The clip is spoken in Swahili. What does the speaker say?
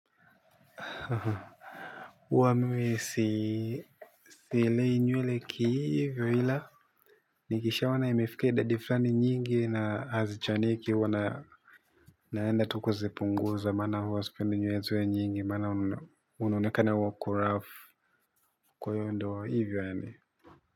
Huwa mimi si silei nywele ki hivyo ila nikishaona imefikia idadi flani nyingi na hazichaniki huwa na naenda tu kuzipunguza maana huwa spendi nywele ziwe nyingi maana unaonekana huwa kurough kwa hiyo ndio hivyo yaani.